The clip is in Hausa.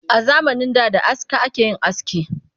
A zamanin da da aska ake yin aski